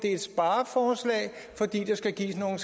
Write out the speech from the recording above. er et spareforslag fordi der skal gives nogle